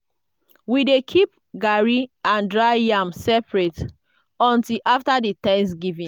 we dey keep garri and dried yam separate until after di thanksgiving.